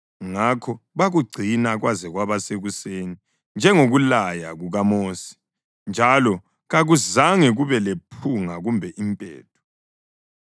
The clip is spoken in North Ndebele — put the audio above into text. Ngakho bakugcina kwaze kwaba sekuseni njengokulaya kukaMosi njalo kakuzange kube lephunga kumbe impethu.